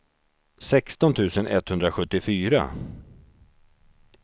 sexton tusen etthundrasjuttiofyra